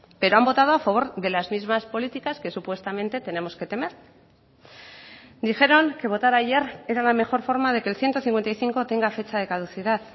pero han votado a favor de las mismas políticas que supuestamente tenemos que temer dijeron que votar ayer era la mejor forma de que el ciento cincuenta y cinco tenga fecha de caducidad